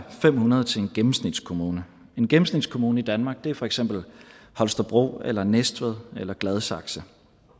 er fem hundrede til en gennemsnitskommune en gennemsnitskommune i danmark er for eksempel holstebro eller næstved eller gladsaxe